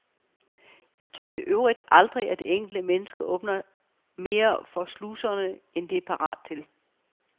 Jeg tror i øvrigt aldrig, det enkelte menneske åbner mere for sluserne, end det er parat til.